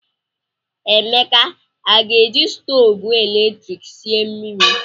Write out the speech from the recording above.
Emeka a ga-eji stovu eletrik sie mmiri?